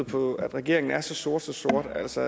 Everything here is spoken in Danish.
på at regeringen er så sort så stort altså